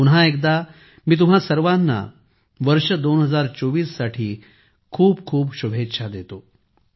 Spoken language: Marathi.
पुन्हा एकदा मी तुम्हा सर्वांना वर्ष 2024 च्या खूप खूप शुभेच्छा देतो